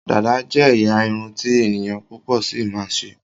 Dàda jé ẹyà Irun ti ènìyàn púpò sí ma ṣe.